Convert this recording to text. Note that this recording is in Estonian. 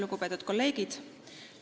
Lugupeetud kolleegid!